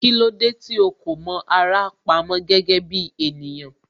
Kílódé tí ó kò mọ ara pamó gẹ́gẹ́ bí ènìyàn